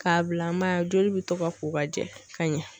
K'a bila an ma joli bɛ to ka ko ka jɛ ka ɲɛ.